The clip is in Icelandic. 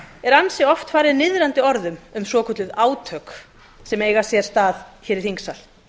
er ansi oft farið niðrandi orðum um svokölluð átök sem eiga sér stað í þingsal